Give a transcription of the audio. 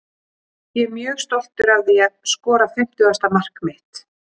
Ég er mjög stoltur að því að skora fimmtugasta mark mitt.